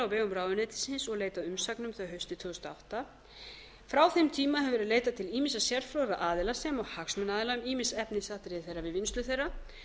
vegum ráðuneytisins og leitað umsagna um þau haustið tvö þúsund og átta frá þeim tíma hefur geira leitað til ýmissa sérfróðra aðila sem og hagsmunaaðila um ýmis efnisatriði þeirra við vinnslu þeirra